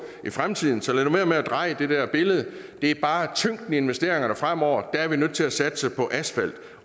i fremtiden så lad nu være med at tegne det der billede det er bare tyngden af investeringerne fremover at vi er nødt til at satse på asfalt